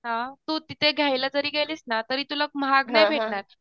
हां तू तिथे घ्यायला जरी गेलीस ना तरी तुला महाग नाही भेटणार